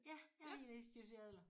Ja jeg har læst Jussi Adler